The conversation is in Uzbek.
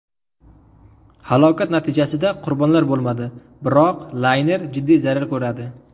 Halokat natijasida qurbonlar bo‘lmadi, biroq layner jiddiy zarar ko‘radi.